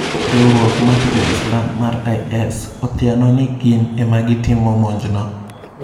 Riuruok mar Joislam mar (IS) othiano ni gin ema gitimo monj no.